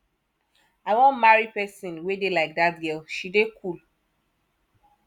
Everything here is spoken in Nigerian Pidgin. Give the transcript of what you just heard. i wan marry person wey dey like dat girl she dey cool